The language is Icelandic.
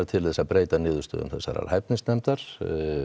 til að breyta niðurstöðu hæfnisnefndar